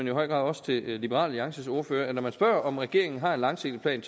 i høj grad også til liberal alliances ordfører at når der spørges om regeringen har en langsigtet plan